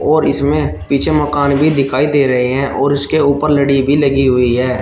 और इसमें पीछे मकान भी दिखाई दे रहे हैं और उसके ऊपर लड़ी भी लगी हुई है।